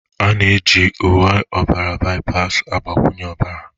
A na-eji uwe ọbara byas mgbakwunye ọbara